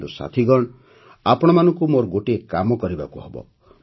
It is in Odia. କିନ୍ତୁ ସାଥିଗଣ ଆପଣମାନଙ୍କୁ ମୋର ଗୋଟିଏ କାମ କରିବାକୁ ହେବ